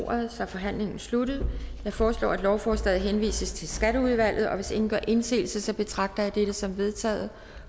ordet så forhandlingen er sluttet jeg foreslår at lovforslaget henvises til skatteudvalget og hvis ingen gør indsigelse betragter jeg dette som vedtaget